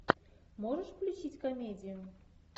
можешь включить комедию